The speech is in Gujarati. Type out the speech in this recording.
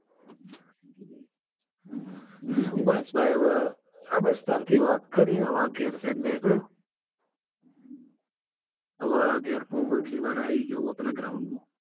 બસ ભાઈ હવે આ બસ તાર થી વાત કરીં ગાર સાઈડ નીકળ્યો. હવે આ ગેર પોકયો એટલી વાર આઈ ગયો આ પેલા ground માં.